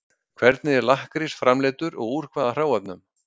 Hvernig er lakkrís framleiddur og úr hvaða hráefnum?